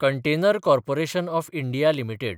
container corporation of India limited